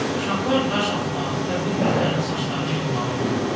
Uşaqlar daş atmağı və bir-birlərinin saçlarını yolmağı unutdular.